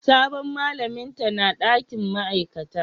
Sabon malamin ta na dakin ma'aikata?